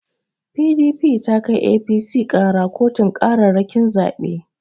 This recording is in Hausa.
PDP ta kai APC ƙara kotun ƙararrakin zabe.